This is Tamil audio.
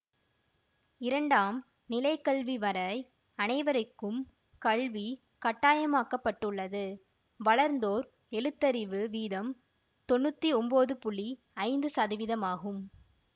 இரண்டாம் நிலைக்கல்வி வரை அனைவரைக்கும் கல்வி கட்டாயமாக்கப்பட்டுள்ளது வளர்ந்தோர் எழுத்தறிவு வீதம் தொன்னூத்தி ஒம்போது புள்ளி ஐந்து சதவீதமாகும்